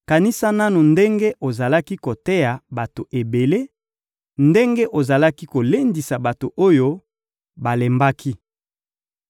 Kanisa nanu ndenge ozalaki koteya bato ebele, ndenge ozalaki kolendisa bato oyo balembaki!